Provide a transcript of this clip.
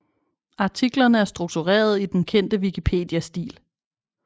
Artiklerne er struktureret i den kendte Wikipedia stil